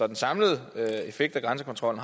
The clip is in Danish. den samlede effekt af grænsekontrollen